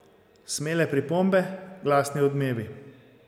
Smele pripombe, glasni odmevi.